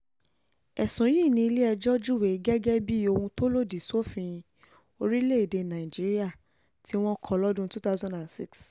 ẹ̀sùn yìí ní ilé-ẹjọ́ júwe um gẹ́gẹ́ bíi ohun tó lòdì sófin orílẹ̀-èdè nàíjíríà um tí wọ́n kọ́ lọ́dún two thousand six